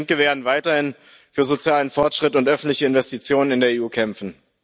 Wir als Linke werden weiterhin für sozialen Fortschritt und öffentliche Investitionen in der EU kämpfen.